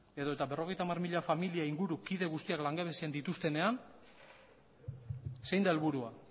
edota berrogeita hamar mila familia inguru kide guztiak langabezian dituztenean zein da helburua